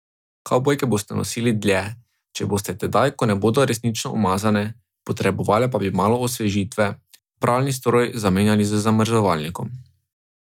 Kavbojke boste nosili dlje, če boste tedaj, ko ne bodo resnično umazane, potrebovale pa bi malo osvežitve, pralni stroj zamenjali z zamrzovalnikom.